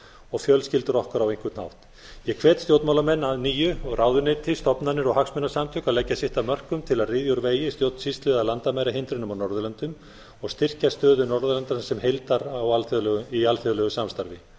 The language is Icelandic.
og fjölskyldur okkar á einhvern hátt ég hvet stjórnmálamenn að nýju og ráðuneyti stofnanir og hagsmunasamtök að leggja sitt af mörkum til að ryðja úr vegi stjórnsýslu eða landamærahindrunum á norðurlöndum og styrkja stöðu norðurlandanna sem heildar í alþjóðlegu samstarfi